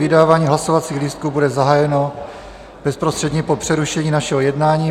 Vydávání hlasovacích lístků bude zahájeno bezprostředně po přerušení našeho jednání.